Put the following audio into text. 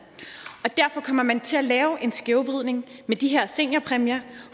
og man til at lave en skævvridning med de her seniorpræmier